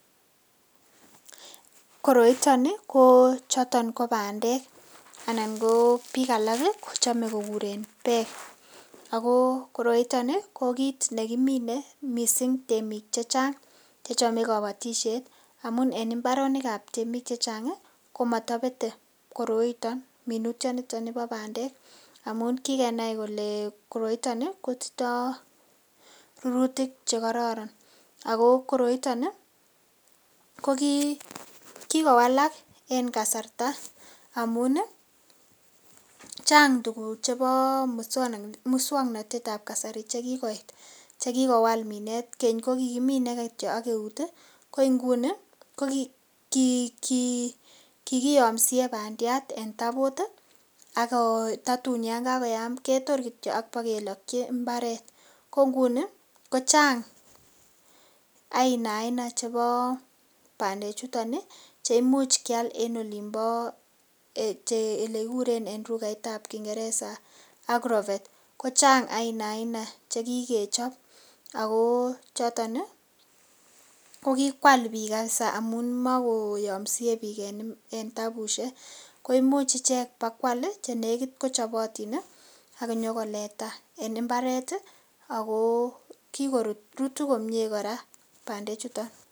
Koroito ni, ko choton ko bandek anan ko biik alak kochome ko kuren bek. Ago koroito ni ko kit ne kimine mising temik chechang che chome kobotisiet amun en mbaronik ab temik chechang komotobete koroito-minutyonito nibo bandek, amun kikenai kole koroito kotindo rurutik che kororon ago koroito ko kigowalak en kasarta amun chnag tuguk chebo muswaknatet ab kasari che kigoit, che kigowal minet. Keny ko kigimine kityo ak eut, kigiyomsie bandiat en tabut ak tatun yan kagoyam ketor kityo ak kibokeloki mbaret, ko nguni kochang aina aina chebo bandek chuton che imuch keal en olinbo ele kiguren en lugait ab Kiingereza agrovet ko chang aina aina che kigechob ago choton kogikwal biik kabisa amun magoyomsie biik en tabushek. Ko imuch ichek kobakoal che negit kochobotin ak inyokoleta en mbaret ago rutu komie kora bandechuto.